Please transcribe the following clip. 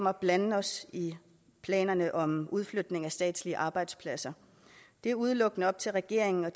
at blande os i planerne om udflytningen af statslige arbejdspladser det er udelukkende op til regeringen og